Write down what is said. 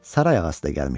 Saray ağası da gəlmişdi.